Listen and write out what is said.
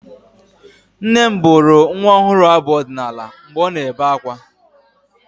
Nne m bụrụ nwa ọhụrụ abụ ọdịnaala mgbe ọ na-ebe akwa.